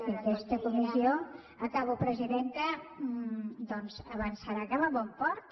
que aquesta comissió acabo presidenta doncs avançarà cap a bon port